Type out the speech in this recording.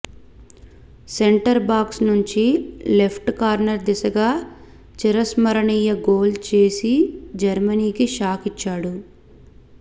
centre box నుంచి left corner దిశగా చిరస్మరణీయ గోల్ చేసి జర్మనీకి షాక్ ఇచ్చాడు